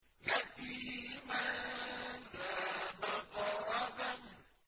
يَتِيمًا ذَا مَقْرَبَةٍ